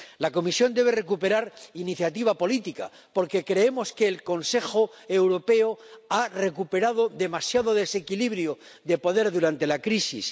La Comisión debe recuperar iniciativa política, porque creemos que el Consejo Europeo ha recuperado demasiado desequilibrio de poder durante la crisis.